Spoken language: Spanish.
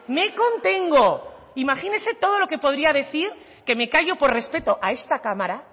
me contengo imagínese todo lo que podría decir que me callo por respeto a esta cámara